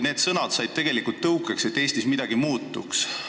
Need sõnad said tegelikult tõukeks, et Eestis midagi muutuma hakkaks.